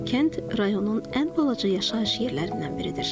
Kənd rayonun ən balaca yaşayış yerlərindən biridir.